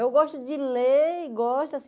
Eu gosto de ler e gosto assim.